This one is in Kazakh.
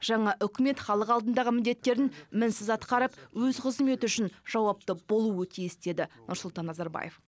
жаңа үкімет халық алдындағы міндеттерін мінсіз атқарып өз қызметі үшін жауапты болуы тиіс деді нұрсұлтан назарбаев